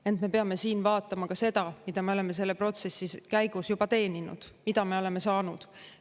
Ent me peame siin vaatama ka seda, mida me oleme selle protsessi käigus juba teeninud, mida me oleme saanud.